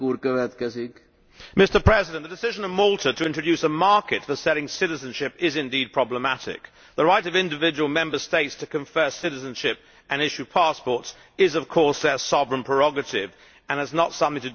Mr President, the decision of Malta to introduce a market for selling citizenship is indeed problematic. The right of individual Member States to confer citizenship and issue passports is, of course, their sovereign prerogative and is not something to do with the EU.